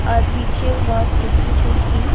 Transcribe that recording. और पीछे बहोत सूखी-सूखी --